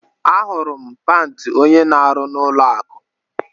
Ahụrụ m pant onye na arụ na ụlọ akụ